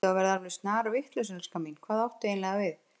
Ertu að verða alveg snarvitlaus, elskan mín, hvað áttu eiginlega við?